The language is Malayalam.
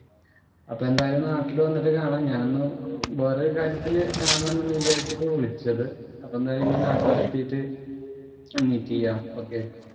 അപ്പൊ എന്തായാലും നാട്ടില്‍ വന്നിട്ട് കാണാം. ഞാനൊന്നു വേറെ ഒരു കാര്യത്തിനു കാണണം എന്ന് വിചാരിച്ചിട്ടാ വിളിച്ചത്. അപ്പൊ ഇനി എന്തായാലും ഇനി നാട്ടില്‍ എത്തിയിട്ട് മീറ്റ്‌ ചെയ്യാം. ഓകേ.